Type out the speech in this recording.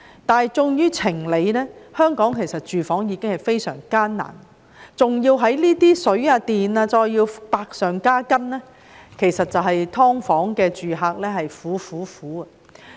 但是，出於情理，香港的居住問題已經非常嚴峻，還要在水、電費百上加斤，"劏房"住客簡直是"苦、苦、苦"。